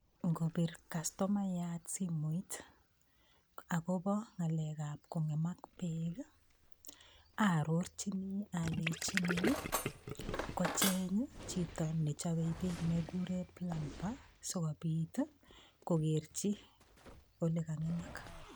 Ngobir kastomayat simoit, agobo ngalekab kongemak beek, arorchini aleini kocheng chito ne chobei beek ne kikuren plumber sigopit kokerchi olekangemak.